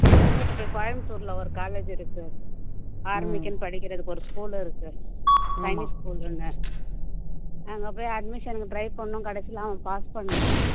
கோயம்புத்தூர்ல ஒரு college இருக்கு army க்குன்னு படிக்கிறதுக்கு ஒரு school இருக்கு school ன்னு அங்க போய் admission க்கு try பண்ணோம் கடைசியில அவன் pass பண்ணல